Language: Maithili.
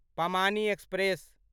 पमानी एक्सप्रेस